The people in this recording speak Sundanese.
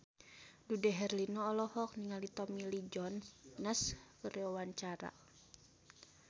Dude Herlino olohok ningali Tommy Lee Jones keur diwawancara